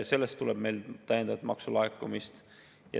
Sellest tuleb meile täiendavat maksulaekumist.